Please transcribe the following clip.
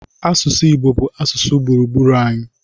Asụsụ Igbo bụ asụsụ gburugburu anyị.